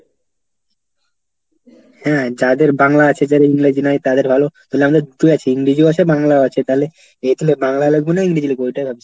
হ্যাঁ যাদের বাংলা আছে যারা ইংরেজি নাই তাদের ভালো, তাহলে আমরা দুটোই আছি, ইংরেজি ভাষায় বাংলাও আছে। এ তাহলে বাংলায় লিখবো না ইংরেজি লিখবো? ঐটাই ভাবছি।